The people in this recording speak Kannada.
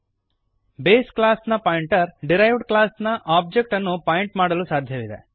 ಬೇಸ್ ಕ್ಲಾಸ್ ನ ಪಾಯಿಂಟರ್ ಡಿರೈವ್ಡ್ ಕ್ಲಾಸ್ ನ ಒಬ್ಜೆಕ್ಟ್ ಅನ್ನು ಪಾಯಿಂಟ್ ಮಾಡಲು ಸಾಧ್ಯವಿದೆ